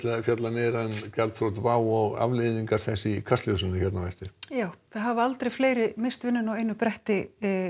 fjallið meira um gjalþrot WOW og afleiðingar þess í Kastljósi á eftir já það hafa aldrei fleiri misst vinnuna á einu bretti